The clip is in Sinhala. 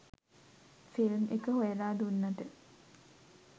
ෆිල්ම් එක හොයලා දුන්නට.